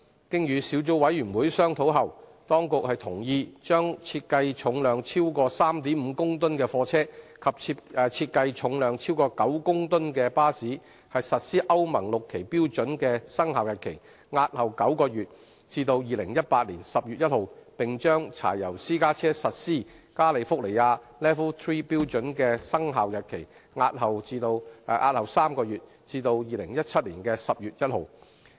經與小組委員會商討後，當局同意將設計重量超過 3.5 公噸的貨車及設計重量超過9公噸的巴士實施歐盟 VI 期標準的生效日期，押後9個月至2018年10月1日；並將柴油私家車實施加利福尼亞 LEV III 標準的生效日期，押後3個月至2017年10月1日。